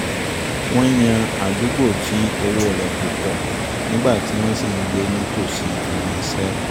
wọ́n yan àdúgbò tí owó rẹ̀ kò pọ̀ nígbà tí wọ́n sì ń gbé ní tòsí ibi-iṣẹ́